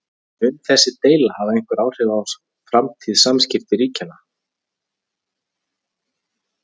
En mun þessi deila hafa einhver áhrif á framtíðar samskipti ríkjanna?